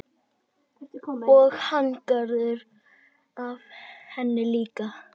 Og hagnaðurinn af henni líka.